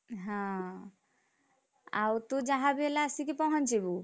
ହଁ, ଆଉ ତୁ ଯାହାବି ହେଲେ ଆସି କି ପହଞ୍ଚିବୁ।